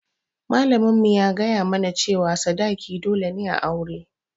Malamin mu ya gaya mu na cewa sadaki dole ne a aure